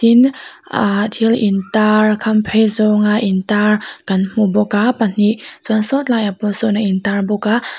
tin aa thil intar a khamphei zawnga intar kan hmu bawk a pahnih chuan sawtlai ah pawh sawn a intar bawk a--